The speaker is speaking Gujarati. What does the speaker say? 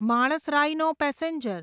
Manas rhino passenger